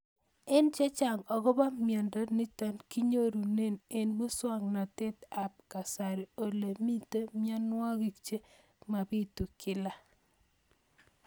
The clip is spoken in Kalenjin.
Ng'alek chechang' akopo miondo nitok inyoru eng' muswog'natet ab kasari ole mito mianwek che mapitu kila